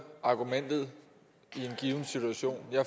argumentet i en given situation jeg